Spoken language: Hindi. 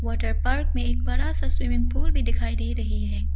वाटर पार्क में एक बड़ा सा स्विमिंग पूल भी दिखाई दे रही है।